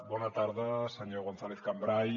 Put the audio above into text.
bona tarda senyor gonzàlez cambray